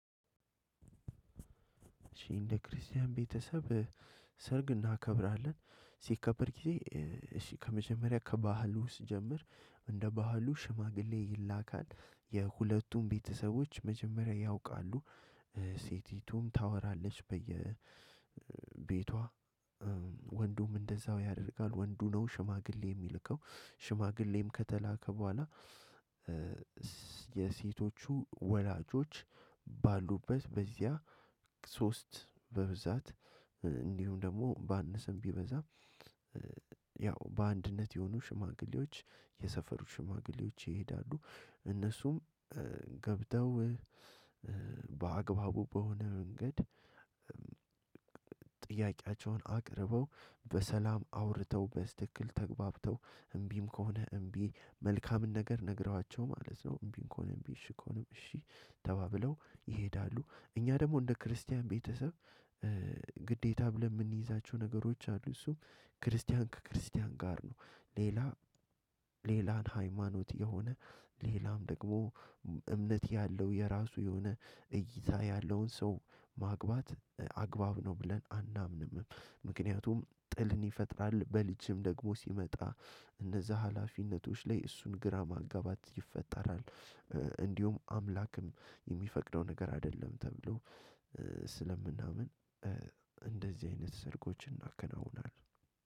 እሺ እንደ ክርስቲያን ቤተሰብ ሰርግ እናከብራለን። ሲከበር ጊዜ እሺ ከመጀመሪያ ከባህሉ ስጀምር፣ እንደ ባህሉ ሽማግሌ ይላካል፣ የሁለቱም ቤተሰቦች መጀመሪያ ያውቃሉ፣ ሴቲቱም ታወራለች በየቤቷ። ወንዱም እንደዛው ያደርጋል። ወንዱ ነው ሽማግሌ የሚልከው። ሽማግሌም ከተላከ በኋላ የሴቶቹ ወላጆች ባሉበት በዚያ ሶስት በብዛት እንዲሁም ደግሞ ባንሰም ቢበዛም በአንድነት የሆኑ ሽማግሌዎች የሰፈሩ ሽማግሌዎች ይሄዳሉ። እነሱም ገብተው በአግባቡ በሆነ መንገድ ጥያቄያቸውን አቅርበው በሰላም አውርተው በስትክክል ተግባብተው እምቢም ከሆነ እምቢ መልካምን ነገር ነግረዋቸው ማለት ነው፣ እምቢ ከሆነም እምቢ እሺ ከሆነም እሺ ተባብለው ይሄዳሉ። እኛ ደግሞ እንደ ክርስቲያን ቤተሰብ ግዴታ ብለን የምንይዛቸው ነገሮች አሉ። እሱም ክርስቲያን ከክርስቲያን ጋር ነው። ሌላ ሌላን ሃይማኖት የሆነ ሌላም ደግሞ እምነት ያለው የራሱ የሆነ እይታ ያለውን ሰው ማግባት አግባብ ነው ብለን አናምንም። ምክንያቱም ጥልን ይፈጥራል። በልጅም ደግሞ ሲመጣ እንደዛ ሀላፊነቶች ላይ እሱን ግራ ማጋባት ይፈጠራል። እንዲሁም አምላክም የሚፈቅደው ነገር አይደለም ተብሎ ስለምናምን እንደዚህ አይነት ሰርጎች እናከናውናለን።